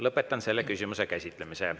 Lõpetan selle küsimuse käsitlemise.